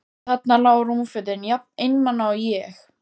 Þarna lágu rúmfötin, jafn einmana og ég.